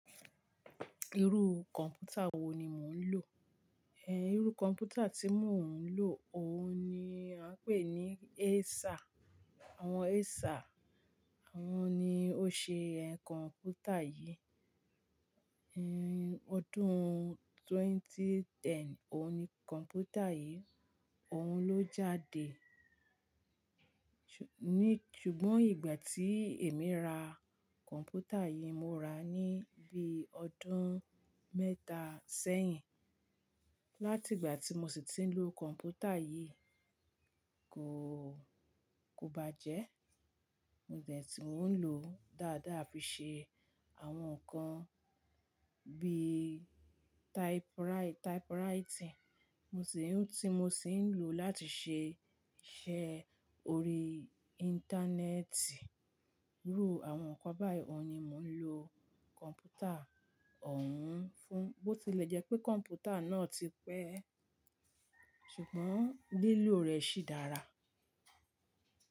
Irú kọ̀mpútà wò ní mò ń lò? Ẹ̀, irú kọ̀mpútà tí mò ń lò, ọ̀ún ni a ń pè ní Acer. Àwọn Acer àwọn ni ó ṣe ẹ̀ kọ̀mpútà yìí. Hmm, ọdún twenty-ten, ọ̀ún ni kọ̀mpútà yìí, ọ̀ún ló jáde. Ju-- ní, ṣùgbọ́n ìgbà tí èmi rà kọ̀mpútà yìí, mo rà á níbí ọdún mẹ́ta sẹ́yìn. Láti ìgbà tí mo sì ti ń lò kọ̀mpútà yìí, kò, kò bá jẹ́. Mo dẹ̀ tí mò ń lò ó dáadáa fi ṣe àwọn nǹkan bí i typewriting. Mo sì ń, tí mo sì ń lò ó láti ṣe iṣẹ́ orí Íńtánẹ́ẹ̀tì. Irú àwọn nǹkan báyìí òun ni mò ń lò kọ̀mpútà òun fún. Bó ti lè jẹ́ pé kọ̀mpútà náà ti pẹ́, ṣùgbọ́n lílò rẹ̀ sì dára.